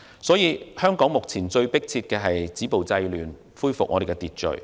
所以，現時香港最迫切的是要止暴制亂，恢復秩序。